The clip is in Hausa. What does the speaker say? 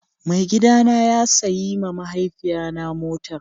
Mai gida na ya sayi ma mahaifiya na motar